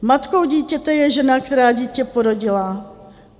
Matkou dítěte je žena, která dítě porodila.